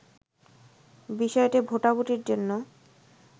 বিষয়টি ভোটাভুটির জন্য